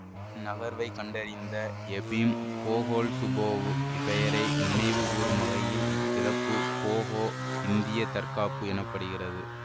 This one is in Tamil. இந்நகர்வை கண்டறிந்த எபிம் போகோல்சுபோவ் பெயரை நினைவுகூறும் வகையில் இத்திறப்பு போகோ இந்திய தற்காப்பு எனப்படுகிறது